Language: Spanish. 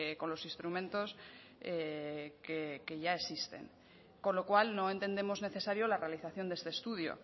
con los instrumentos que ya existen con lo cual no entendemos necesario la realización de este estudio